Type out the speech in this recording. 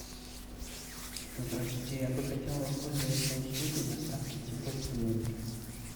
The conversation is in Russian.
здравствуйте я бы хотел воспользоваться услугой доставки цветов в номер